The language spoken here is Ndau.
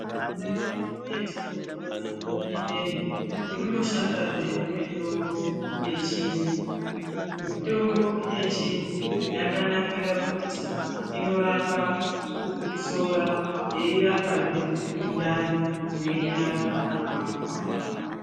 Mundau yatinopona ineyi munoshandazve mitombo yechiantu. Mitombo yechiantu yakanakire kuti unorape kukosora, yeirapazve mundani mweinyarara apapo apapo.